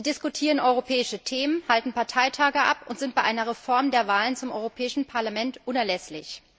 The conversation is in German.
Sie diskutieren europäische Themen, halten Parteitage ab und sind bei einer Reform der Wahlen zum Europäischen Parlament unerlässlich.